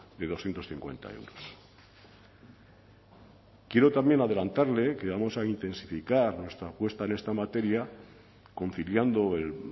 de doscientos cincuenta euros quiero también adelantarle que vamos a intensificar nuestra apuesta en esta materia conciliando el